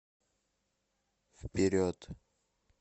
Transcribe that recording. вперед